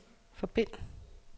forbind